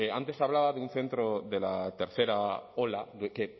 antes hablaba de un centro de la tercera ola de que en